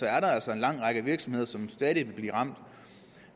er der altså en lang række virksomheder som stadig vil blive ramt